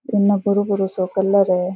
ऐना भूरो भूरो सो कलर है।